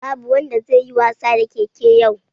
Babu wanda zai yi wasa da keke yau